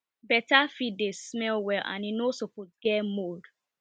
better feed dey smell well and e no suppose get mould